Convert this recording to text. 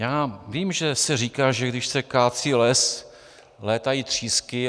Já vím, že se říká, že když se kácí les, létají třísky.